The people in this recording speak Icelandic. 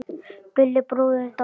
Gulli bróðir er dáinn.